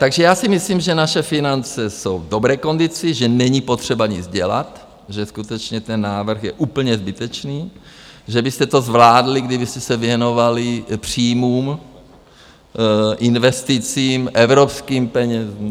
Takže já si myslím, že naše finance jsou v dobré kondici, že není potřeba nic dělat, že skutečně ten návrh je úplně zbytečný, že byste to zvládli, kdybyste se věnovali příjmům, investicím, evropským penězům.